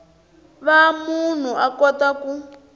va munhu a kota ku